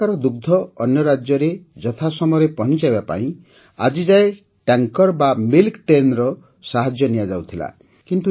ଏଠାକାର ଦୁଗ୍ଧ ଅନ୍ୟ ରାଜ୍ୟରେ ଯଥାସମୟରେ ପହଞ୍ଚାଇବା ପାଇଁ ଆଜିଯାଏ ଟ୍ୟାଙ୍କର ବା ମିଲ୍କ Trainର ସାହାଯ୍ୟ ନିଆଯାଉଥିଲା